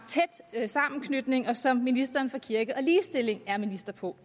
tæt sammenknytning og som ministeren for kirke og ligestilling er minister på